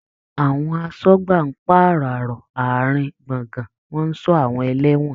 Àwọn aṣọ́gbà ń pàráàro àárín in gbọ̀ngàn, wọ́n ń ṣọ́ àwọn ẹlẹ́wọ̀n.